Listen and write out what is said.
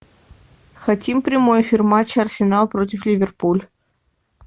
хотим прямой эфир матча арсенал против ливерпуль